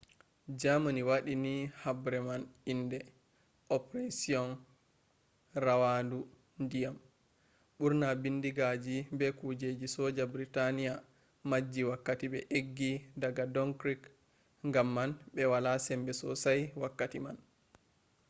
germany wadi ni habre man inde operasion rawandu dyam”. burna bindigaji be kujeji soja britania majji wakkati be eggi daga dunkirk gam man be wala sembe sosai wakkati man